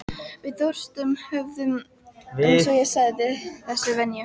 Við Þorsteinn höfðum, eins og ég sagði, þessa venju.